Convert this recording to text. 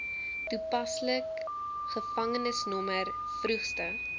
toepaslik gevangenisnommer vroegste